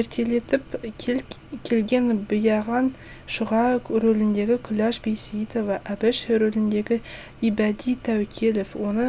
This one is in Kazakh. ертелетіп кел ген биағаң шұға рөліндегі күләш байсейітова әбіш рөліндегі ибәди тәуекелов оны